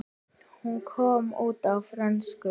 Hún kom út á frönsku